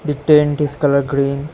The tent is colour green.